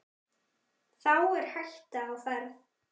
Þá er hætta á ferð.